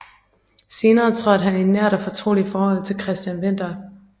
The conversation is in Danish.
Senere trådte han i nært og fortroligt forhold til Christian Winther